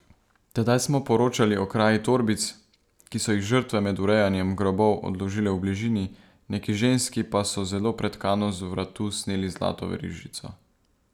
Tedaj smo poročali o kraji torbic, ki so jih žrtve med urejanjem grobov odložile v bližini, neki ženski pa so zelo pretkano z vratu sneli zlato verižico.